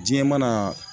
Diɲɛ mana